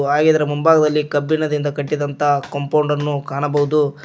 ಆಗಿದ್ದರೆ ಮುಂಭಾಗದಲ್ಲಿ ಕಬ್ಬಿಣದಿಂದ ಕಟ್ಟಿದಂತ ಕಂಪೌಂಡನ್ನು ಕಾಣಬಹುದು.